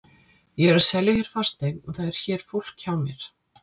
Ég er að selja hér fasteign og það er hér fólk hjá mér.